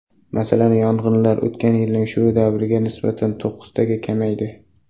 Masalan, yong‘inlar o‘tgan yilning shu davriga nisbatan to‘qqiztaga kamaydi.